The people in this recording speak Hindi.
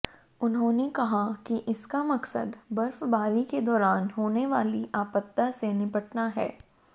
उन्होंने कहा कि इसका मकसद बर्फबारी के दौरान होने वाली आपदा से निपटना है